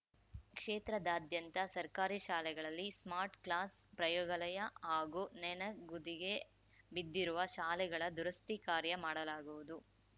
ಕ್ಷೇತ್ರಾದ್ಯಂತ ಸರ್ಕಾರಿ ಶಾಲೆಗಳಲ್ಲಿ smart class ಪ್ರಯೋಗಾಲಯ ಹಾಗೂ ನನೆಗುದಿಗೆ ಬಿದ್ದಿರುವ ಶಾಲೆಗಳ ದುರಸ್ತಿ ಕಾರ್ಯ ಮಾಡಲಾಗುವುದು